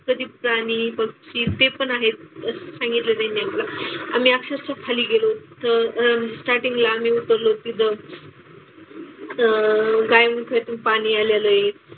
कधी प्राणी, पक्षी ते पण आहेत असं सांगितलं त्यांनी आम्हाला. आम्ही अक्षरशः खाली गेलो तर अह स्टार्टींगा आम्ही उतरलो तिथं. अह गायमुखातून पाणी आलेलं आहे.